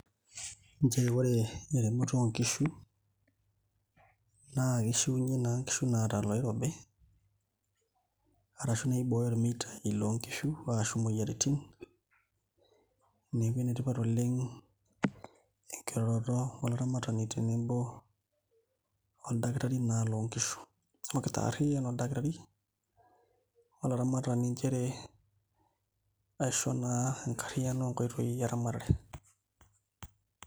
Nchere ore eremoto oonkishu naa kishiunyie naa nkishu naata iloirobi arashu naa ibooyo irmeitaai loonkishu arashu imoyiaritin, neeku enetipat oleng' enkiroroto olaramatani tenebo oldakitari naa loonkishu amu ekitaarriyian oldakitari olaramatani nchere aisho naa enkarriyiano oonkoitoi eramatare.